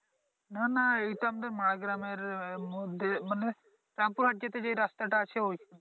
না না এইটা আমদের মায়া গ্রামের মধ্যে মানে রামপুর হাট যেতে যে রাস্তাটা আছে ওই